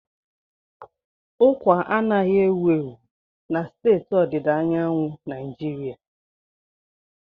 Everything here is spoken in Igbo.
Ụkwa anaghị ewu ewu na steeti ọdịda anyanwụ Naijiria.